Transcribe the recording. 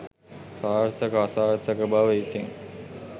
සාර්ථක අසාර්ථක බව ඉතිං